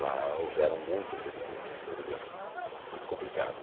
Lá houveram muitas rebeliões, rebeliões muito complicada